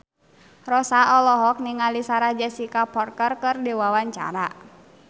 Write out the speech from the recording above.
Rossa olohok ningali Sarah Jessica Parker keur diwawancara